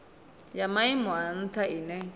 ya maimo a ntha ine